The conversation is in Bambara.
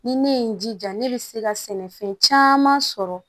Ni ne ye n jija ne bɛ se ka sɛnɛfɛn caman sɔrɔ